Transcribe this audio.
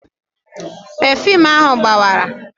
Pefuum ahụ gbawara